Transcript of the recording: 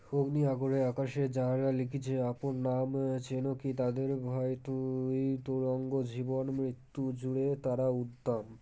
অগ্নি আগরে আকাশে যারা লিখেছে আপন নাম চেনো কী তাদের হয়তো, এই তুরঙ্গ জীবন মৃত্যু জূড়ে তারা উদ্দাম